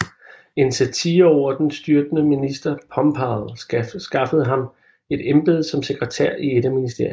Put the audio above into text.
En satire over den styrtede minister Pombal skaffede ham et embede som sekretær i et af ministerierne